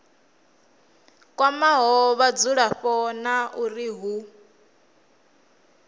kwamaho vhadzulapo na uri hu